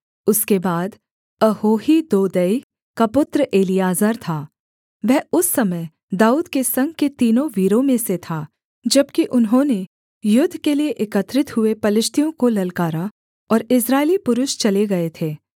उसके बाद अहोही दोदै का पुत्र एलीआजर था वह उस समय दाऊद के संग के तीनों वीरों में से था जबकि उन्होंने युद्ध के लिये एकत्रित हुए पलिश्तियों को ललकारा और इस्राएली पुरुष चले गए थे